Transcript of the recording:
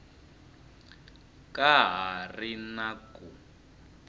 ka ha ri na ku